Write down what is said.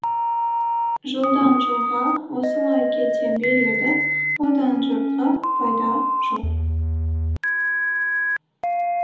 жылдан жылға осылай кете береді одан жұртқа пайда жоқ